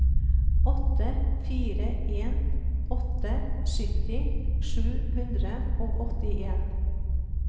åtte fire en åtte sytti sju hundre og åttien